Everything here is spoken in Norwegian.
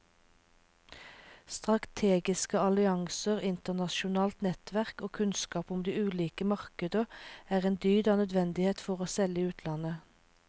Strategiske allianser, internasjonalt nettverk og kunnskap om de ulike markeder er en dyd av nødvendighet for å selge i utlandet.